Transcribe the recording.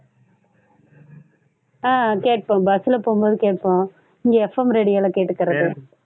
ஆஹ் கேட்போம் bus ல போம்போது கேட்போம். இங்க FM radio ல கேட்டுக்கிறது